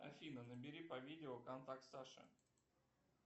афина набери по видео контакт саша